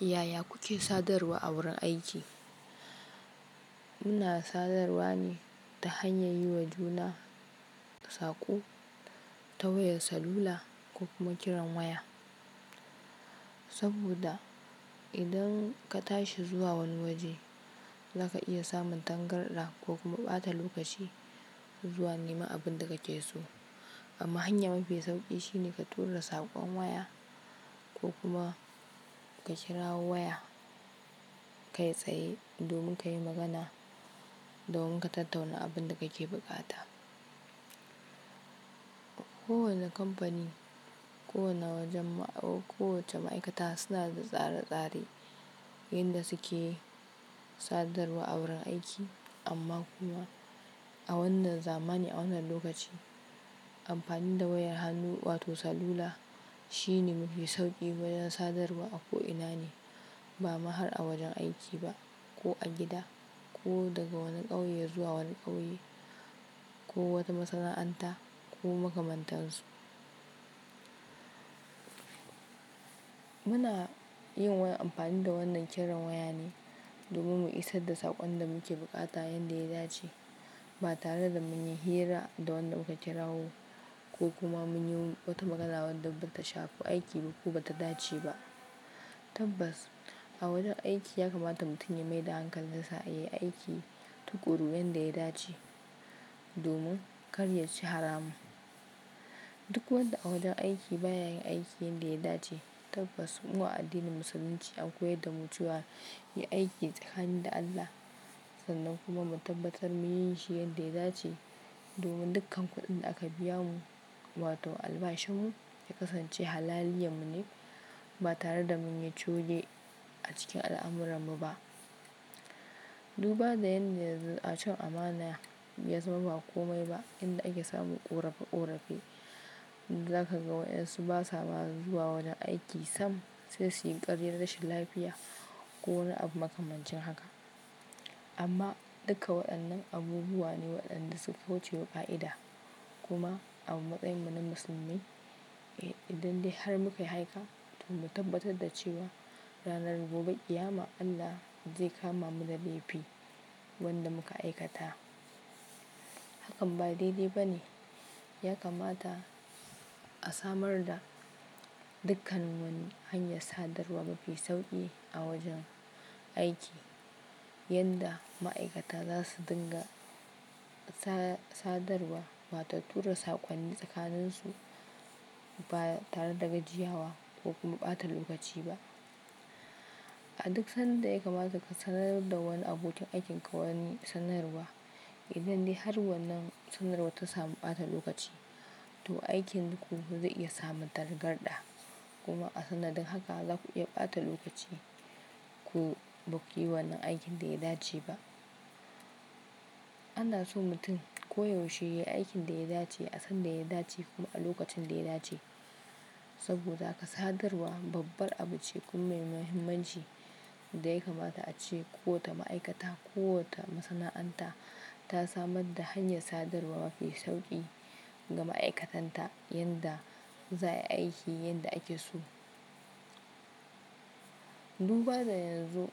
Yaya kuke sadarwa a wurin aiki? Muna sadarwa ne ta hanyar yiwa juna saƙo ta wayar salula ko kuma kiran waya. Saboda idan ka tashi zuwa wani waje, zaka iya samun tangarɗa ko kuma ɓata lokaci zuwa neman abin da kake so. Amma hanya mafi sauƙi shine ka tura saƙon waya ko kuma ka kira waya kai tsaye domin ka yi magana domin ka tattauna abin da kake buƙata. Kowane kamfani, kowane wajen ma-- ko wace ma'aikata suna da tsare-tsare yanda suke sadarwa a wurin aiki. Amma kuma a wannan zamani, a wannan lokaci, amfani da wayar hannu wato salula shine mafi sauƙi wajen sadarwa a ko ina ne. Ba ma har a wajen aiki ba, ko a gida ko daga wani ƙauye zuwa wani ƙauye ko wata masana'anta ko makamantar su. Muna yin wayan amfani da wannan kiran waya ne domin mu isar da saƙon da muke bukata yanda ya dace, ba tare da mun yi hira da wanda muka kirawo ko kuma mun yi wata magana wanda ba ta shafi aiki ba ko ba ta dace ba. Tabbas, a wajen aiki ya kamata mutum ya mai da hankali sa ya yi aiki tuƙuru yanda ya dace domin kar ya ci haramun. Duk wanda a wajen aiki ba ya yin aiki yanda ya dace, tabbas, mu a addinin Musulunci an koyar da mu zuwa yin aiki tsakanin da Allah sannan kuma mu tabbatar mu yin shi yanda ya dace domin dukkan kuɗin da aka biya mu wato albashinmu ya kasance halaliya mu ne ba tare da mun yi cuge a cikin al'amuran mu ba. Duba da yadda yanzu a cin amana ya zama ba kome ba yanda ake samun ƙorefe-ƙorefe, zaka ga wayansu ba sa ma zuwa wajen aiki sam sai su yi ƙaryan rashin lafiya ko wani abu makamancin haka. Amma duka waɗannan abubuwa ne waɗanda suka wucewa ƙa'ida. Kuma a matsayinmu na musulmi, idan dai har muka yi haika to mu tabbatar da cewa ranar gobe, kiyama Allah zai kama mu da laifi wanda muka aikata. Hakan ba daidai ba ne. Ya kamata a samar da dukkan wani hanya sadarwa mafi sauƙi a wajen aiki yadda ma'aikata za su dinga ta-sadarwa wato tura saƙonni tsakanin su ba tare da gajiyawa ko kuma ɓata lokaci ba. A duk san da ya kamata ka sanar da wani abokin aikin ka wani sanarwa, idan dai har wannan sanarwar ta samu ɓata lokaci to aikin ku zai iya samun tangarɗa. Kuma a sanadin haka zaku iya ɓata lokaci ku ba ku yi wannan aikin da ya dace ba. Ana so mutum koyaushe ya yi aikin da ya dace, a san da ya dace kuma a lokacin da ya dace. Saboda haka sadarwa babbar abu ce kuma mai muhimmanci da ya kamata ace kowata ma'aikata, kowata masana'anta ta samar da hanya sadarwa mafi sauƙi ga ma'aikatanta yanda za a yi aiki yanda ake so. Duba da yanzu